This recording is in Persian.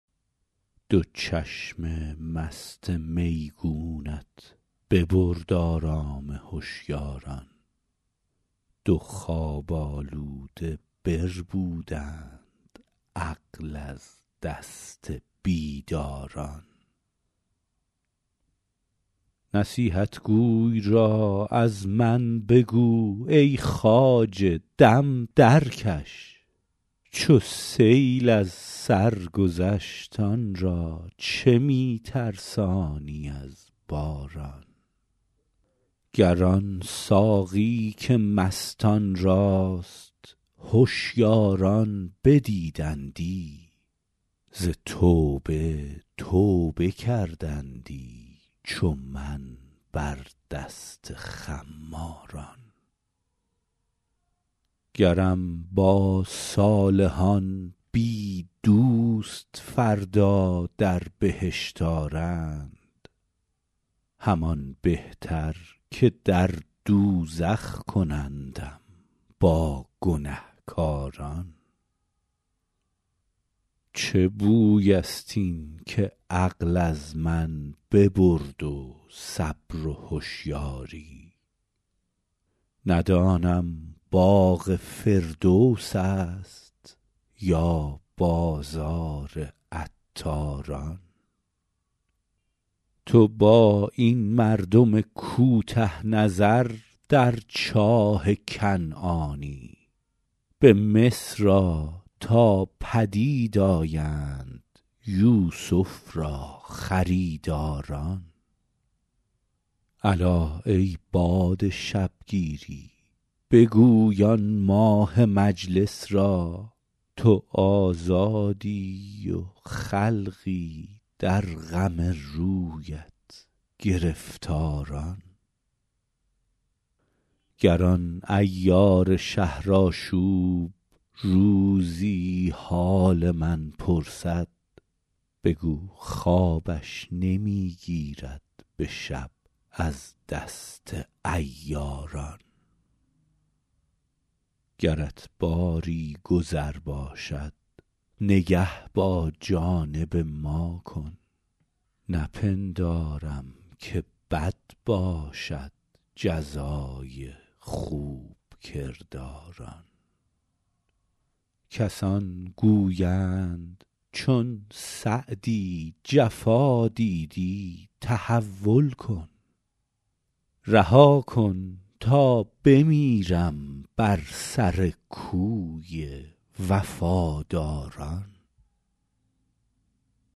دو چشم مست میگونت ببرد آرام هشیاران دو خواب آلوده بربودند عقل از دست بیداران نصیحتگوی را از من بگو ای خواجه دم درکش چو سیل از سر گذشت آن را چه می ترسانی از باران گر آن ساقی که مستان راست هشیاران بدیدندی ز توبه توبه کردندی چو من بر دست خماران گرم با صالحان بی دوست فردا در بهشت آرند همان بهتر که در دوزخ کنندم با گنهکاران چه بوی است این که عقل از من ببرد و صبر و هشیاری ندانم باغ فردوس است یا بازار عطاران تو با این مردم کوته نظر در چاه کنعانی به مصر آ تا پدید آیند یوسف را خریداران الا ای باد شبگیری بگوی آن ماه مجلس را تو آزادی و خلقی در غم رویت گرفتاران گر آن عیار شهرآشوب روزی حال من پرسد بگو خوابش نمی گیرد به شب از دست عیاران گرت باری گذر باشد نگه با جانب ما کن نپندارم که بد باشد جزای خوب کرداران کسان گویند چون سعدی جفا دیدی تحول کن رها کن تا بمیرم بر سر کوی وفاداران